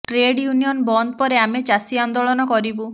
trade union ବନ୍ଦ ପରେ ଆମେ ଚାଷୀ ଆନ୍ଦୋଳନ କରିବୁ